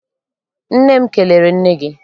Nne m kelere nne gị.